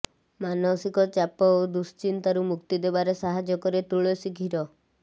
ମାନସିକ ଚାପ ଓ ଦୁଃଶ୍ଚିନ୍ତାରୁ ମୁକ୍ତି ଦେବାରେ ସାହାଯ୍ୟ କରେ ତୁଳସୀ କ୍ଷୀର